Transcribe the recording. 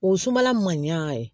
O sumala man ɲɛ a ye